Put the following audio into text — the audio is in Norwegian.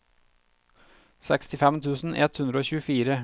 sekstifem tusen ett hundre og tjuefire